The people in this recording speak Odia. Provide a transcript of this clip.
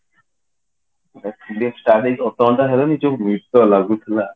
ସେ film start ହେଇକି ଅଧଘଣ୍ଟା ହେଲାଣି ଯୋଉ ନିଦ ଲାଗୁଥିଲା